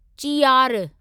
चीयार